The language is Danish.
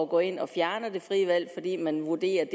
går ind og fjerner det frie valg fordi man vurderer at